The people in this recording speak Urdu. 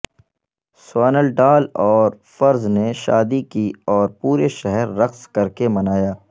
سوانلڈال اور فرز نے شادی کی اور پورے شہر رقص کرکے منایا